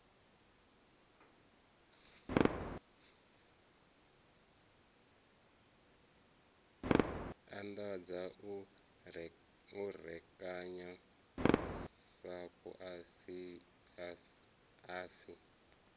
anḓadza u rekanya sapu asi